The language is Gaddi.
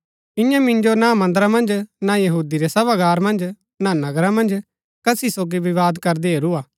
इन्यै मिन्जो ना मन्दरा मन्ज ना यहूदी रै सभागार मन्ज ना नगरा मन्ज कसी सोगी विवाद करदै हेरूआ